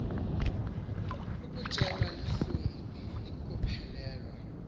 ukutshelwa lihlungu kukuphelelwa